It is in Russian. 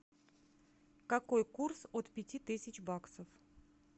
какой курс от пяти тысяч баксов